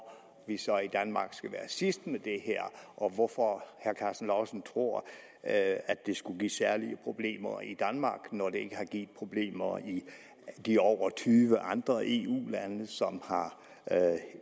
vi så i danmark skal være sidst med det her og hvorfor herre karsten lauritzen tror at det skulle give særlige problemer i danmark når det ikke har givet problemer i de over tyve andre eu lande som har